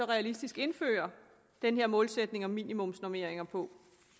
realistisk kan indføre den her målsætning om minimumsnormeringer på